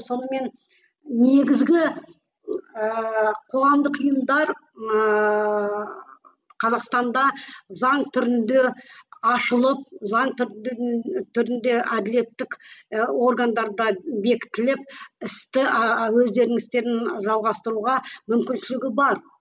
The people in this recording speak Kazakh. сонымен негізгі ыыы қоғамдық ұйымдар ыыы қазақстанда заң түрінде ашылып заң түрінде әділеттік і органдарда бекітіліп істі ааа өздерінің істерін жалғастыруға мүмкіншілігі бар